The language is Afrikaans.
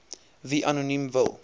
wie anoniem wil